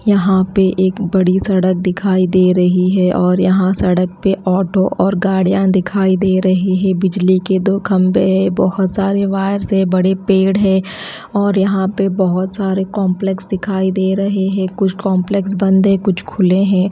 यहां पे एक बड़ी सड़क दिखाई दे रही है और यहां सड़क पे ऑटो और गाड़ियां दिखाई दे रही है बिजली के दो खंबे है बहोत सारे वायर से बड़े पेड़ है और यहां पे बहोत सारे कॉम्प्लेक्स दिखाई दे रहे है कुछ कॉम्प्लेक्स बंद है कुछ खुले हैं।